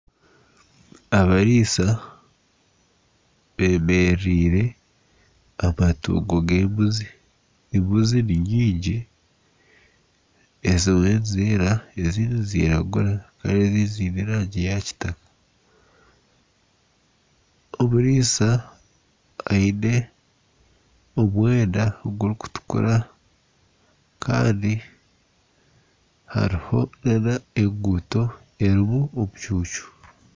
Abariisa bemerereire amatungo g'embuzi. Embuzi ni nyingi, ezimwe nizeera ezindi niziragura haroho ezindi ziine erangi ya kitaka. Omuriisa aine omwenda gurikutukura kandi hariho n'enguuto erimu omucuucu.